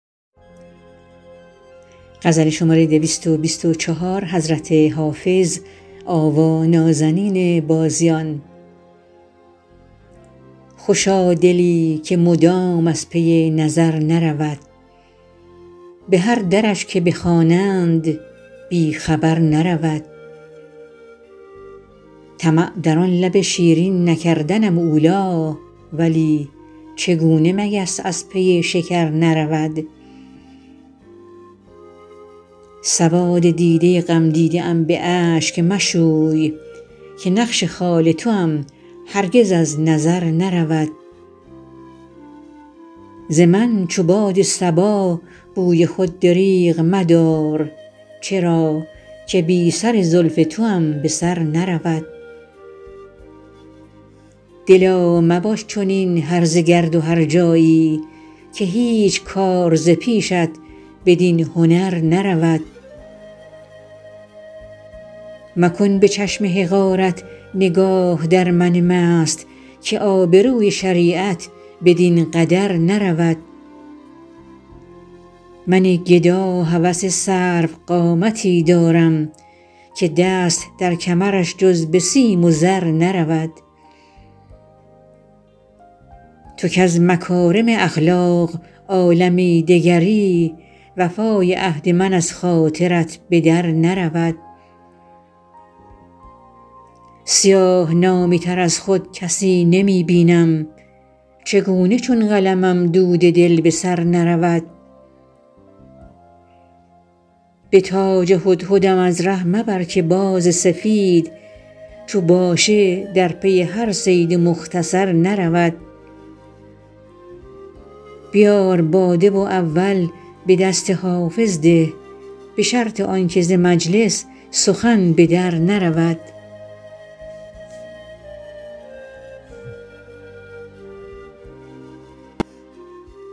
خوشا دلی که مدام از پی نظر نرود به هر درش که بخوانند بی خبر نرود طمع در آن لب شیرین نکردنم اولی ولی چگونه مگس از پی شکر نرود سواد دیده غمدیده ام به اشک مشوی که نقش خال توام هرگز از نظر نرود ز من چو باد صبا بوی خود دریغ مدار چرا که بی سر زلف توام به سر نرود دلا مباش چنین هرزه گرد و هرجایی که هیچ کار ز پیشت بدین هنر نرود مکن به چشم حقارت نگاه در من مست که آبروی شریعت بدین قدر نرود من گدا هوس سروقامتی دارم که دست در کمرش جز به سیم و زر نرود تو کز مکارم اخلاق عالمی دگری وفای عهد من از خاطرت به در نرود سیاه نامه تر از خود کسی نمی بینم چگونه چون قلمم دود دل به سر نرود به تاج هدهدم از ره مبر که باز سفید چو باشه در پی هر صید مختصر نرود بیار باده و اول به دست حافظ ده به شرط آن که ز مجلس سخن به در نرود